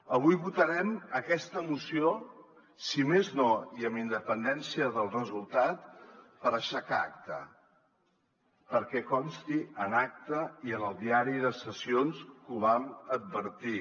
avui votarem aquesta moció si més no i amb independència del resultat per aixecar acta perquè consti en acta i en el diari de sessions que ho vam advertir